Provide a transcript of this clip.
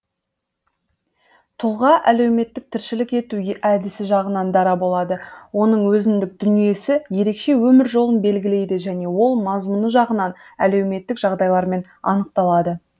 тұлға әлеуметтік тіршілік ету әдісі жағынан дара болады оның өзіндік дүниесі ерекше өмір жолын белгілейді және ол мазмұны жағынан әлеуметтік жағдайлармен анықталады